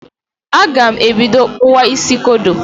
Aga m ebido kpụwa isi kodo.